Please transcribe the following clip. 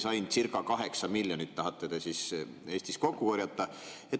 Sain circa kaheksa miljonit, mille tahate te Eestis kokku korjata.